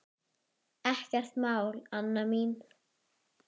Helstu úrslit mótsins voru